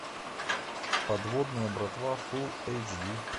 подводная братва фул эйч ди